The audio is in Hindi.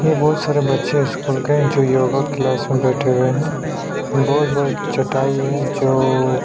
ये बोहत सारे बच्चे स्कूल के हैं जो योगा क्लास में बैठे हुए है बोहत बड़ा चटाई है जो--